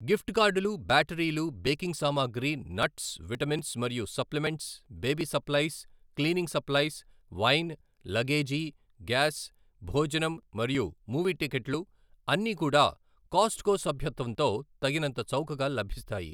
Gift కార్డులు, బ్యాటరీలు, baking సామాగ్రి, నట్స్, విటమిన్స్ మరియు supplements, baby supplies, cleaning supplies, wine, luggage, gas, భోజనం మరియు మూవీ టిక్కెట్లు అన్నీ కూడా కాస్ట్కో సభ్యత్వంతో తగినంత చౌకగా లభిస్తాయి.